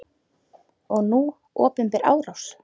Og nú opinber árás!